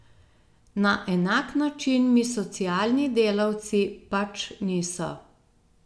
Na enak način mi socialni delavci pač niso.